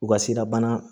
U ka sirabana